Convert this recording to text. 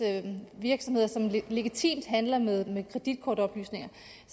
virksomheder som legitimt handler med med kreditkortoplysninger